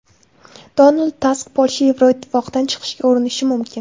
Donald Tusk: Polsha Yevroittifoqdan chiqishga urinishi mumkin.